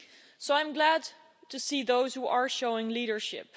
So I'm glad to see those who are showing leadership.